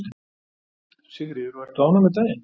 Sigríður: Og ert þú ánægð með daginn?